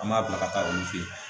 An b'a bila ka taa olu fɛ yen